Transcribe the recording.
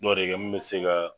Dɔ de kɛ mun bɛ se ka